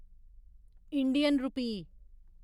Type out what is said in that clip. Indian rupee